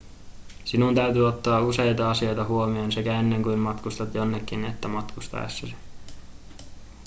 sinun täytyy ottaa useita asioita huomioon sekä ennen kuin matkustat jonnekin että matkustaessasi